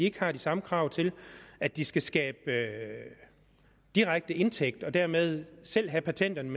ikke har de samme krav til at de skal skabe direkte indtægt og dermed selv have patenterne